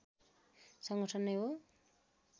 संगठन नै हो